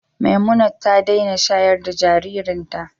Memunat ta daina shayar da jaririnta.